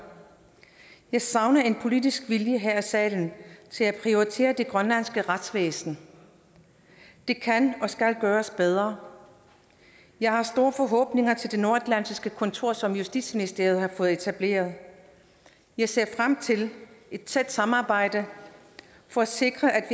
jeg savner en politisk vilje her i salen til at prioritere det grønlandske retsvæsen det kan og skal gøres bedre jeg har store forhåbninger til det nordatlantiske kontor som justitsministeriet har fået etableret jeg ser frem til et tæt samarbejde for at sikre at